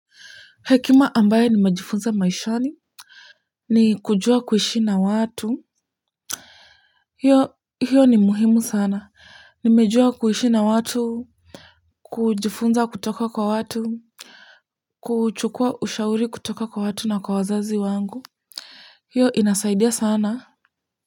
Hekima ambayo nimejifunza maishani ni kujua kuishi na watu hio hio ni muhimu sana nimejua kuishi na watu kujifunza kutoka kwa watu kuchukua ushauri kutoka kwa watu na kwa wazazi wangu hio inasaidia sana.